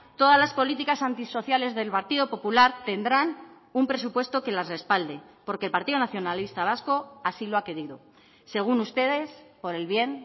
todas las políticas antisociales del partido popular tendrán un presupuesto que las respalde porque el partido nacionalista vasco así lo ha querido según ustedes por el bien